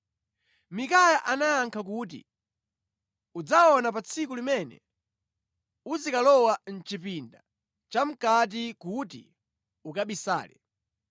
Mikaya anayankha kuti, “Udzaona pa tsiku limene uzikalowa mʼchipinda chamʼkati kuti ukabisale.”